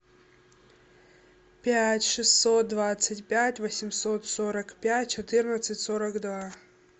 пять шестьсот двадцать пять восемьсот сорок пять четырнадцать сорок два